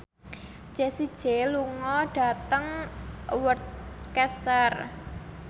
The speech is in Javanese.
Jessie J lunga dhateng Worcester